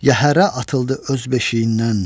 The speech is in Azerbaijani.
Yəhərə atıldı öz beşiyindən.